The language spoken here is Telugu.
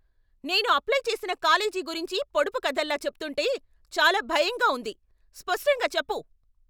నేను అప్లై చేసిన కాలేజీ గురించి పొడుపు కథల్లా చెప్తుంటే చాలా భయంగా ఉంది. స్పష్టంగా చెప్పు.